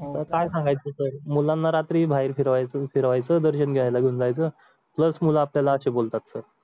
हो आता काय सांगायचं तर मुलांना रात्री बाहेर फिरवायचं तर फिरवायचं दर्शन घ्यायला पण जायचं pulse मुलं आपल्याला अशी बोलतात sir